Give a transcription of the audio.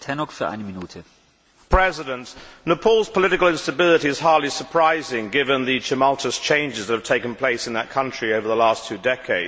Mr President, Nepal's political instability is hardly surprising given the tumultuous changes that have taken place in that country over the last two decades.